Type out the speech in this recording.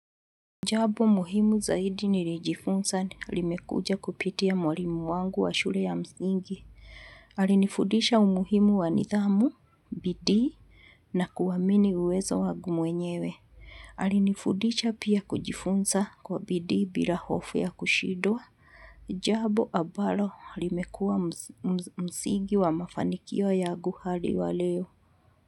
Jambo muhimu zaidi nilijifunza limekuja kupitia mwalimu wangu wa shule ya msingi. Alinifudisha umuhimu wa nidhamu, bidii na kuamini uwezo wangu mwenyewe. Alinifudisha pia kujifunza kwa bidii bila hofu ya kushindwa. Jambo ambalo limekuwa msingi wa mafanikio yangu hadi wa leo.